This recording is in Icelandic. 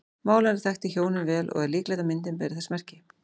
Málarinn þekkti hjónin vel og er líklegt að myndin beri þess merki.